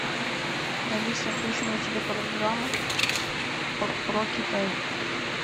алиса включи мне телепрограмму про китай